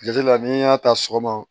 Jate la n'i y'a ta sɔgɔma